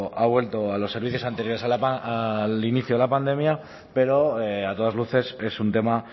ha vuelto a los servicios anteriores al inicio de la pandemia pero a todas luces es un tema